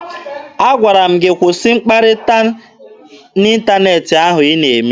Agwara m gị kwụsị mkpakọrịta n'ịntaneetị ahụ ị na-eme!